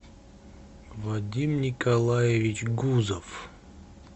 вадим николаевич гузов